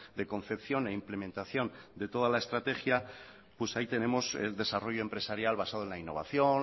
de concepción e implementación de toda la estrategia pues ahí tenemos el desarrollo empresarial basado en la innovación